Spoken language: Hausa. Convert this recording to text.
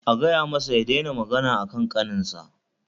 A gaya masa ya daina magana akan ƙaninsa